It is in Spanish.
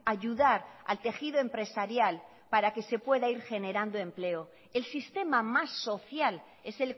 ayudar al tejido empresarial para que se pueda ir generando empleo el sistema más social es